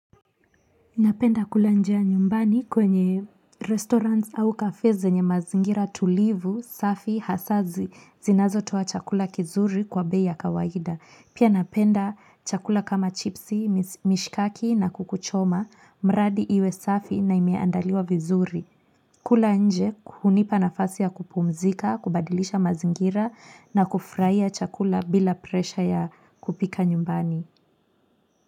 Napenda kula njia nyumbani kwenye restaurants au cafes zenye mazingira tulivu, safi, hasa zinazo toa chakula kizuri kwa bei ya kawaida. Pia napenda chakula kama chipsi, mishkaki na kuku choma, mradi iwe safi na imeandaliwa vizuri. Kula nje hunipa nafasi ya kupumzika, kubadilisha mazingira na kufurahia chakula bila presha ya kupika nyumbani.